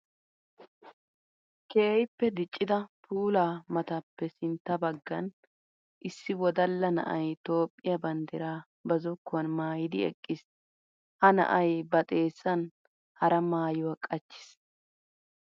Keehippe diccidda puula maatappe sintta bagan issi wodalla na'ay Toophiya banddira ba zokkuwan maayiddi eqqiis. Ha na'ay ba xeessan hara maayuwa qachchiis.